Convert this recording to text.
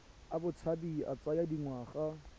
a botshabi a tsaya dingwaga